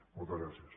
moltes gràcies